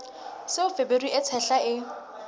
seo feberu e tshehla e